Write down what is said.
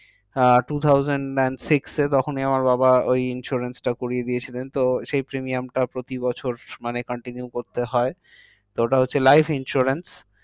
Ah two thousand and six এ তখনি আমার বাবা ওই insurance টা করিয়ে দিয়েছিলেন। তো সেই premium টা প্রতি বছর মানে continue করতে হয়। তো ওটা হচ্ছে life insurance.